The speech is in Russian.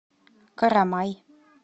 карамай